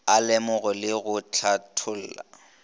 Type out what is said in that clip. a lemoge le go hlatholla